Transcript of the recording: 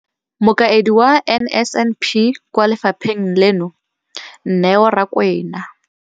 Mokaedi wa NSNP kwa lefapheng leno, Neo Rakwena,